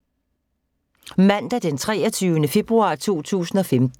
Mandag d. 23. februar 2015